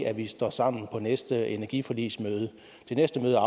at vi står sammen på næste energiforligsmøde det næste møde er